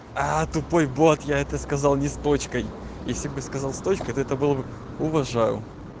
тупой бот я это сказал не с точкой если бы сказал с точкой то это было бы уважаю